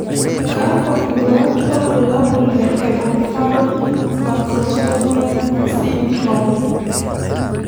Kakw nduat wobulabul le Ablepharon macrostomia syndrome?